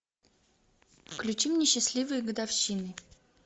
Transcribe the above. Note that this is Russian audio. включи мне счастливые годовщины